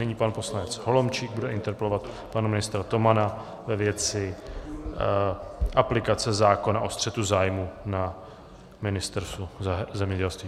Nyní pan poslanec Holomčík bude interpelovat pana ministra Tomana ve věci aplikace zákona o střetu zájmů na Ministerstvu zemědělství.